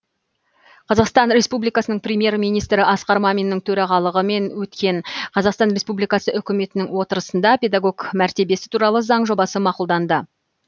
қазақстан республикасының премьер министрі асқар маминнің төрағалығымен өткен қазақстан республикасы үкіметінің отырысында педагог мәртебесі туралы заң жобасы мақұлданды